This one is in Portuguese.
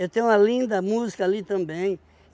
tenho uma linda música ali também.